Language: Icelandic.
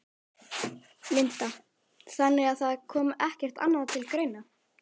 Linda: Þannig að það kom ekkert annað til greina?